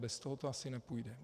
Bez toho to asi nepůjde.